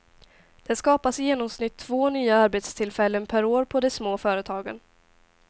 Det skapas i genomsnitt två nya arbetstillfällen per år på de små företagen.